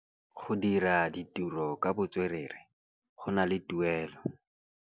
Go dira ditirô ka botswerere go na le tuelô.